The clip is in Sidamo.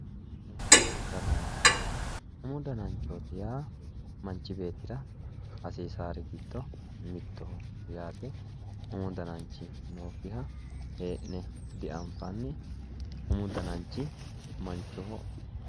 Umu damanchooti yaa manchi beettira hasiisawoori giddo mittoho yaate umu damanchi nookkiha hee'ne dianfaanni umu dananchi manchoho